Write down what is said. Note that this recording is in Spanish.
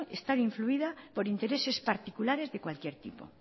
estar incluida por intereses particulares de cualquier tipo